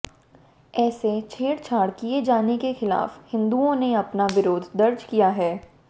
ऐसे छेडछाड किए जाने के खिलाफ हिन्दुओं ने अपना विरोध दर्ज कराया है